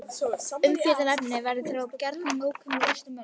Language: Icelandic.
Umfjöllunarefni hennar verða því gjarnan nákomin flestum mönnum.